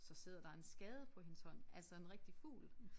Så sidder der en skade på hendes hånd altså en rigtig fugl